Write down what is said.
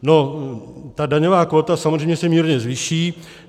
No ta daňová kvóta samozřejmě se mírně zvýší.